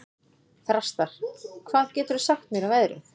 Þrastar, hvað geturðu sagt mér um veðrið?